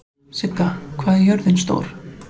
Sigga, hvað er jörðin stór?